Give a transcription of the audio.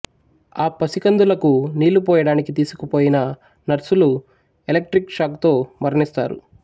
ఆ పసికందులకు నీళ్ళు పోయడానికి తీసుకుపోయిన నర్సులు ఎలెక్ట్రిక్ షాకుతో మరణిస్తారు